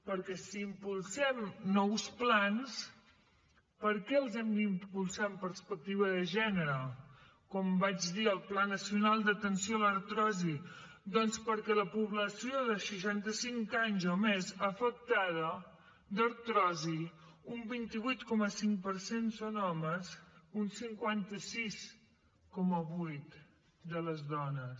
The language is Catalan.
perquè si impulsem nous plans per què els hem d’impulsar amb perspectiva de gènere com vaig dir al pla nacional d’atenció a l’artrosi doncs perquè la població de seixanta cinc anys o més afectada d’artrosi un vint vuit coma cinc per cent són homes un cinquanta sis coma vuit dones